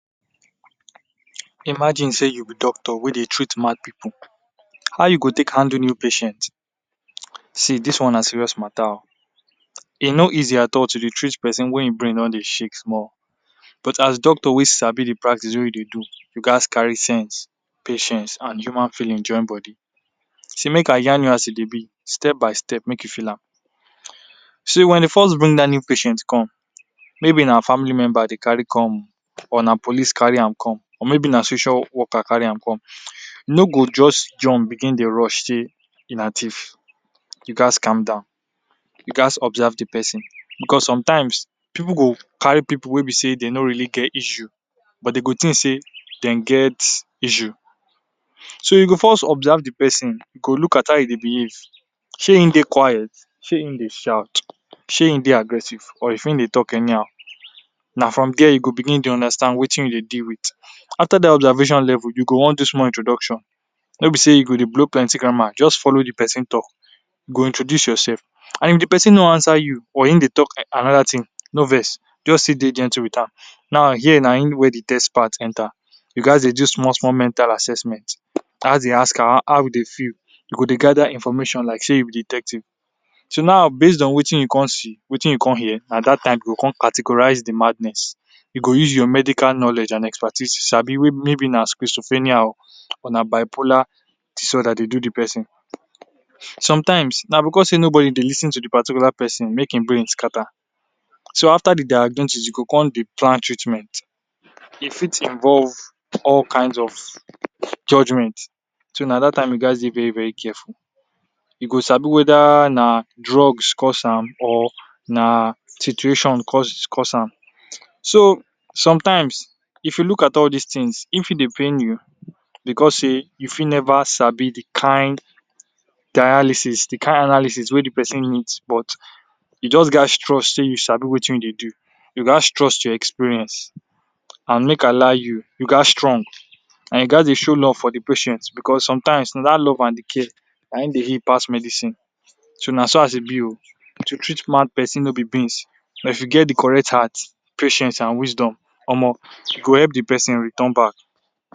Imagine sey you be doctor wey dey treat mad pipu, how you go tek handle new patient? See, dis one na serious matter o, e no easy at all to dey treat person wey e brain don dey shake small, but as doctor wey sabi di practice wey we dey do, you gats carry sense, patience and human feeling join body. Shey mek I yan you as e dey be, step by step, mek you feel am. See, when you first bring dat patient come, maybe na family member den carry come or na police carry am come or maybe na social worker carry am come, you no go just jump begin dey rush sey na tief. You gats calm down, you gats observe di person, because sometimes pipu go carry pipu wey be sey den no really get issue, but den go tink sey den get issue. So, you go first observe di person, you go look at how e dey behave, shey e dey quiet, shey e dey shout, shey e dey aggressive or if e dey talk anyhow, na from dier you go begin dey understand wetin you dey deal wit. After dat observation level, you go wan do small introduction, no be sey you go dey blow plenty grammar, just follow di person talk. You go introduce yourself, and if di person no answer you or e dey talk anoda tin, no vex, just still dey gentle wit am. Now, here nain where di test part enter, you gats dey gist small small mental assessment. Ask dey ask am how how e dey feel, you go gada information like sey you be detective. So now, base on wetin you kon see, wetin you kon hear, na dat time you go kon categorise di madness, you go use your medical knowledge and expertise, sabi wey maybe na cristophenian o or na bipolar disorder dey do di person. Sometimes na because sey nobody dey lis ten to di particular person mek im brain scatter. So, after di diagnosis you go kon dey plan treatment, you fit involve all kinds of judgment, so na dat time you gats dey very very careful, e go sabi weda na drugs cause am or na situation cause cause am. So, sometimes, if you look at all dis tins, if e dey pain you, because sey you fit neva sabi di kind dialysis, di kind analysis wey di person need but you just gats trust sey you sabi wetin you dey do, you gats trust your experience and mek I hala you, you gats strong, you gats dey show love for di patient, because sometimes dat love and di care, naim dey heal pass medicine. So, na so as e be o, to treat mad person no be beans, but if you get di correct heart, patience and wisdom, omo! you go help di person return back.